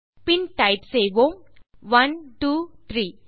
பின் type செய்வோம் 123